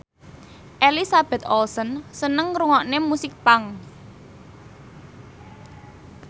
Elizabeth Olsen seneng ngrungokne musik punk